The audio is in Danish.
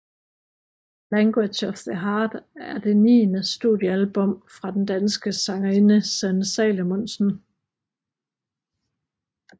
Language of the Heart er det niende studiealbum fra den danske sangerinde Sanne Salomonsen